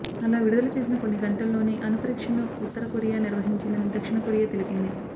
అలా విడుదల చేసిన కొన్ని గంటల్లోనే అణుపరీక్షను ఉత్తరకొరియా నిర్వహించిందని దక్షిణ కొరియా తెలిపింది